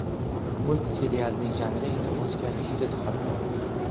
Multserialning janri esa o‘zgarishsiz qoladi.